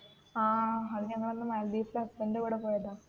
ആ അതു ഞങ്ങൾ അന്ന് മാലി ദ്വീപ്സിൽ അച്ഛന്റെ കൂടേ പോയതാ